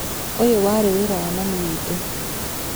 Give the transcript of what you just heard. ũyũwarĩ wĩra wa mami witũ.